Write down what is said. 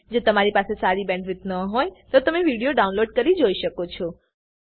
જો તમારી પાસે સારી બેન્ડવિડ્થ ન હોય તો તમે વિડીયો ડાઉનલોડ કરીને જોઈ શકો છો